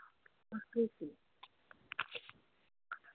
অস্বস্তি।